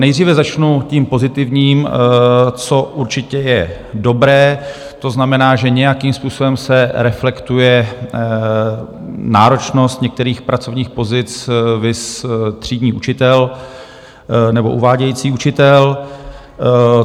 Nejdříve začnu tím pozitivním, co určitě je dobré, to znamená, že nějakým způsobem se reflektuje náročnost některých pracovních pozic, viz třídní učitel nebo uvádějící učitel.